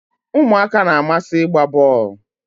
umuaka na-amasi igba bol